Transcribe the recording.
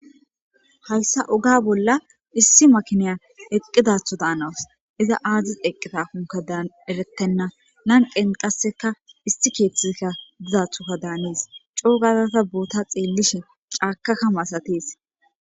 Daysa oga bolla issi makiniya eqqidatho daanawas iza aadzis eqqita hunka daanerettenna nanqen qasseka isti keeththizkka dizathoka daanis coo gazasa boota xeellishe caakakka maasatees